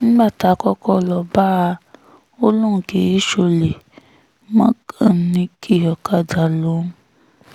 nígbà tá a kọ́kọ́ lọ́ọ́ bá a ò lóun kì í ṣọ̀lẹ mẹkáníìkì ọ̀kadà lòun